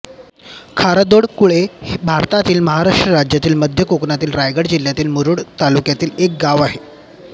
खारदोडकुळे हे भारतातील महाराष्ट्र राज्यातील मध्य कोकणातील रायगड जिल्ह्यातील मुरूड तालुक्यातील एक गाव आहे